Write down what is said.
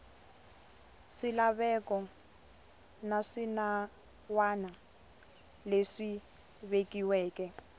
swilaveko na swinawana leswi vekiweke